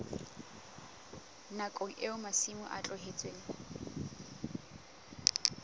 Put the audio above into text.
nakong eo masimo a tlohetsweng